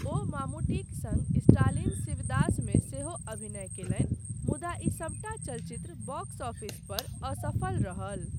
ओ मामूट्टीक सङ्ग स्टालिन शिवदासमे सेहो अभिनय कयलनि, मुदा ई सभटा चलचित्र बॉक्स ऑफिसपर असफल रहल।